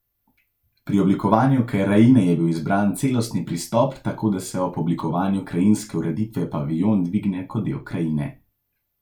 Pri oblikovanju krajine je bil izbran celostni pristop, tako da se ob oblikovanju krajinske ureditve paviljon dvigne kot del krajine.